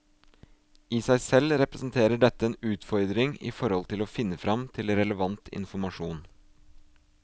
I seg selv representerer dette en utfordring i forhold til å finne frem til relevant informasjon.